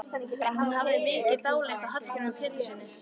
En hún hafði mikið dálæti á Hallgrími Péturssyni.